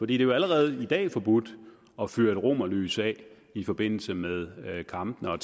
det er jo allerede i dag forbudt at fyre et romerlys af i forbindelse med en kamp og